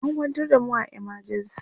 an kwantar da mu a emergency